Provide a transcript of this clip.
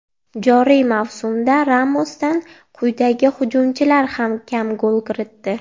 Joriy mavsumda Ramosdan quyidagi hujumchilar ham kam gol kiritdi: !